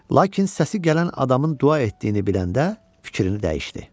Lakin səsi gələn adamın dua etdiyini biləndə fikrini dəyişdi.